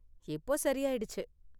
இப்போ சரியாயிடுச்சு.